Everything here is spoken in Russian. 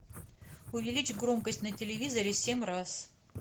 увеличь громкость на телевизоре семь раз